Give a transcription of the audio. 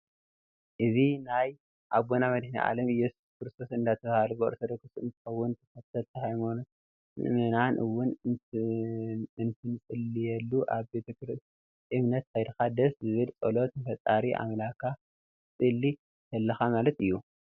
እዚ ናይ ኣቦና መዲሂንናኣለም እዩስስ ክርስቶስ እደተባሃለ ብኣርቶዶክስ እንትከውን ተክተልቲ ሃይማኖት መእመናን እውን እንትፅልይሉ ኣብ ቤተ እምነት ከይድካ ደስ ዝብል ፀሎት ንፈጣሪ ኣምለካ ክትፅልይ ተለካ ማለት እዩ።